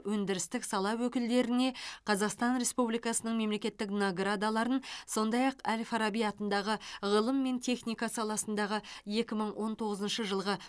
өндірістік сала өкілдеріне қазақстан республикасының мемлекеттік наградаларын сондай ақ әл фараби атындағы ғылым мен техника саласындағы екі мың он тоғызыншы жылғы